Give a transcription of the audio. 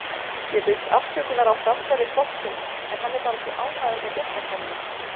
Ég biðst afsökunar á framferði hvolpsins en hann er bara svona ánægður með gestakomuna.